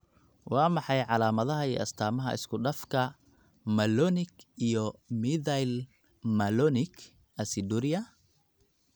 Waa maxay calaamadaha iyo astaamaha isku-dhafka malonic iyo methylmalonic aciduria?